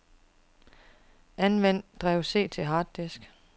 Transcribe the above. Anvend drev C til harddisk.